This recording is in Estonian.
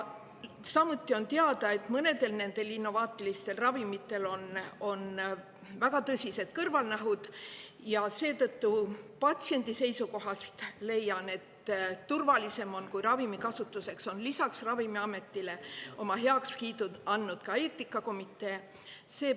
Samuti on teada, et mõnedel nendel innovaatilistel ravimitel on väga tõsised kõrvalnähud, ja seetõttu patsiendi seisukohast leian, et turvalisem on, kui ravimi kasutuseks on lisaks Ravimiametile oma heakskiidu andnud ka eetikakomitee.